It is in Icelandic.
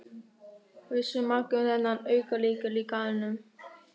Vissu margir um þennan aukalykil í garðinum?